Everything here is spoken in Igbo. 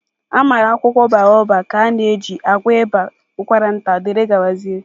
Amara akwụkwọ Baobab ka a na-eji agwọ ịba, ụkwara nta wdg